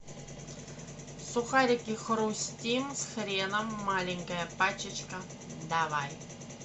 сухарики хрустим с хреном маленькая пачечка давай